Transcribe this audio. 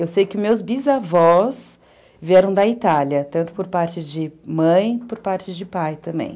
Eu sei que meus bisavós vieram da Itália, tanto por parte de mãe, por parte de pai também.